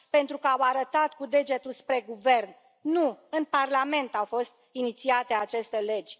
Pentru că au arătat cu degetul spre guvern. Nu în Parlament au fost inițiate aceste legi.